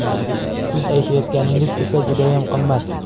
Siz aytayotganingiz esa judayam qimmat.